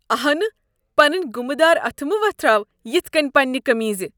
انہہ۔ پنٕنۍ گُمہٕ دار اتھہٕ مہ وۄتھراو یتھ كٕنۍ پنٛنہِ قمیضہ۔